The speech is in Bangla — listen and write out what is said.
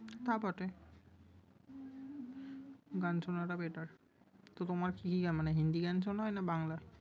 তা বটে! গান শোনাটা better । তো তোমার আহ কি মানে হিন্দি গান শোনা হয় না বাংলা?